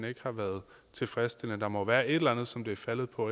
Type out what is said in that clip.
ikke har været tilfredsstillende der må være et eller andet som det er faldet på